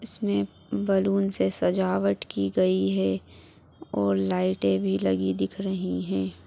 इसमे बैलून से सजावट की गई है और लाइटे भी लगी दिख रही है ।